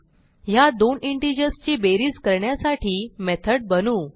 ह्या दोन इंटिजर्स ची बेरीज करण्यासाठी मेथड बनवू